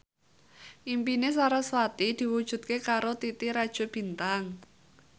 impine sarasvati diwujudke karo Titi Rajo Bintang